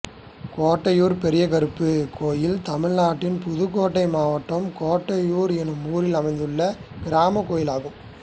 கோட்டையூர் பெரியகருப்பர் கோயில் தமிழ்நாட்டில் புதுக்கோட்டை மாவட்டம் கோட்டையூர் என்னும் ஊரில் அமைந்துள்ள கிராமக் கோயிலாகும்